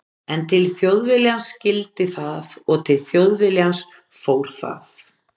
En til Þjóðviljans skyldi það og til Þjóðviljans fór það.